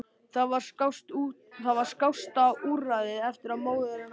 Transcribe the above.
Það var skásta úrræðið eftir að móðir hennar lést.